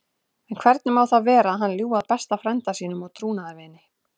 En hvernig má það vera að hann ljúgi að besta frænda sínum og trúnaðarvini?